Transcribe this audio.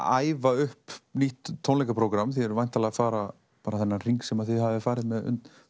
æfa upp nýtt tónleikaprógramm þið eruð væntanlega að fara þennan hring sem þið hafið farið með